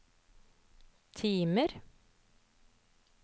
timer